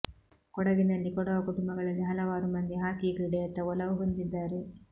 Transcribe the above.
ಕೊಡಗಿನಲ್ಲಿ ಕೊಡವ ಕುಟುಂಬಗಳಲ್ಲಿ ಹಲವಾರು ಮಂದಿ ಹಾಕಿ ಕ್ರೀಡೆಯತ್ತ ಒಲವು ಹೊಂದಿದ್ದಾರೆ